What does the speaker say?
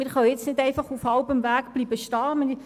Wir können nun nicht auf halbem Weg stehen bleiben.